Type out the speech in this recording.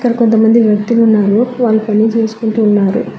కొంతమంది వ్యక్తులు ఉన్నారు వాళ్ళు పని చేసుకుంటూ ఉన్నారు.